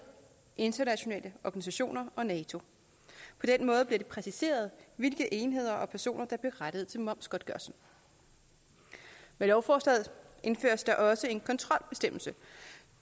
internationale organisationer og nato på den måde bliver det præciseret hvilke enheder og personer der er berettiget til momsgodtgørelse med lovforslaget indføres der også en kontrolbestemmelse